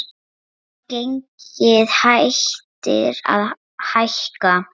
Jú, gengið hættir að hækka.